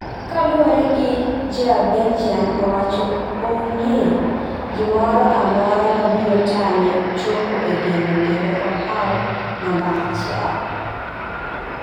kaluowore gi ja belgian owacho onge gi moro amora ma biro tame chopo e geno kendo ohaw namba achiel